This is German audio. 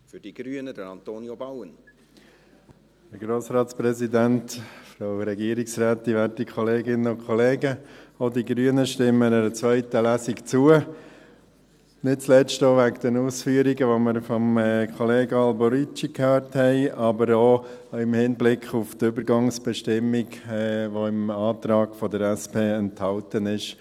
Auch die Grünen stimmen einer zweiten Lesung zu, nicht zuletzt auch wegen der Ausführungen, die wir von Kollege Alberucci gehört haben, aber auch im Hinblick auf die Übergangsbestimmung, die im Antrag der SP enthalten ist.